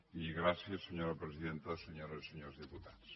i gràcies senyora presidenta senyores i senyors diputats